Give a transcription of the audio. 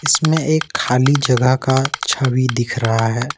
इसमें एक खाली जगह का छवि दिख रहा है।